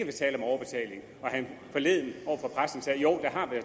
tale om overbetaling og han forleden